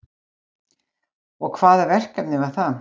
Og hvaða verkefni var það